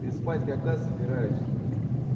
ты спать когда собираешься